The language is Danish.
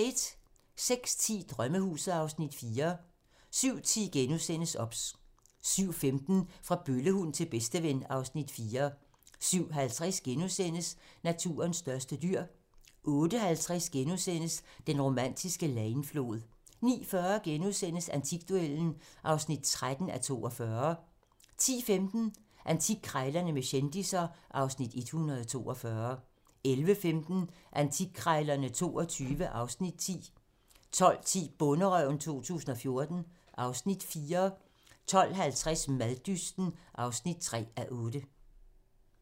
06:10: Drømmehuset (Afs. 4) 07:10: OBS * 07:15: Fra bøllehund til bedsteven (Afs. 4) 07:50: Naturens største dyr * 08:50: Den romantiske Leine-flod * 09:40: Antikduellen (13:42)* 10:15: Antikkrejlerne med kendisser (Afs. 142) 11:15: Antikkrejlerne XXII (Afs. 10) 12:10: Bonderøven 2014 (Afs. 4) 12:50: Maddysten (3:8)